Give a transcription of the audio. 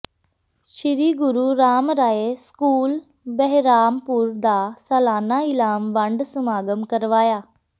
ਸ੍ਰੀ Guru Ram Rai school Behrampur ਦਾ ਸਾਲਾਨਾ ਇਨਾਮ ਵੰਡ ਸਮਾਗਮ ਕਰਵਾਇਆ